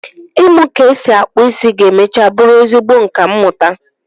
ịmu ka esi akpụ isi ga-mecha bụrụ ezigbo nka mmụta